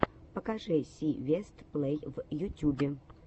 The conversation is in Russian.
покажи си вест плей в ютюбе